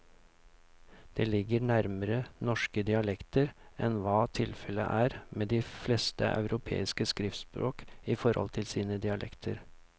Det ligger nærmere norske dialekter enn hva tilfellet er med de fleste europeiske skriftspråk i forhold til sine dialekter.